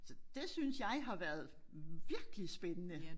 Så det synes jeg har været virkelig spændende